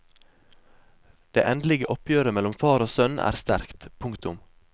Det endelige oppgjøret mellom far og sønn er sterkt. punktum